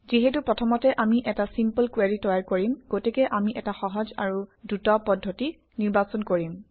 যিহেতু প্ৰথমতে আমি এটা চিম্পল কুৱেৰি তৈয়াৰ কৰিম গতিকে আমি এটা সহজ আৰু দ্ৰুত পদ্ধতি নিৰ্বাচন কৰিম